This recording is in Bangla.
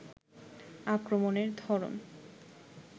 আক্রমণের ধরন